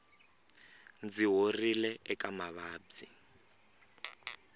ndzi horile eka mavabyi